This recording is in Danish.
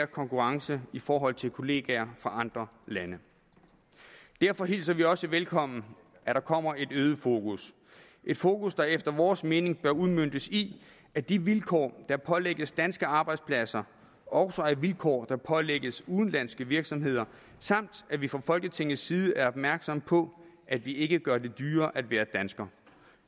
konkurrence i forhold til kollegaer fra andre lande derfor hilser vi også velkommen at der kommer et øget fokus et fokus der efter vores mening bør udmøntes i at de vilkår der pålægges danske arbejdspladser også er vilkår der pålægges udenlandske virksomheder samt at vi fra folketingets side er opmærksomme på at vi ikke gør det dyrere at være dansker